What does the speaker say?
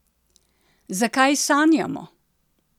Zakaj sanjamo?